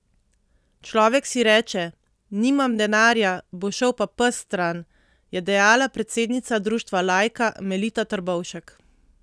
Človek si reče: 'nimam denarja, bo šel pa pes stran'," je dejala predsednica društva Lajka, Melita Trbovšek.